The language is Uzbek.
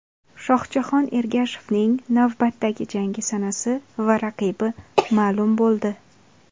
Shohjahon Ergashevning navbatdagi jangi sanasi va raqibi ma’lum bo‘ldi.